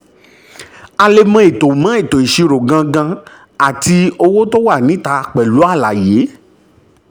um a lè mọ ètò mọ ètò ìṣirò gangan àti owó tó wà níta pẹ̀lú àlàyé.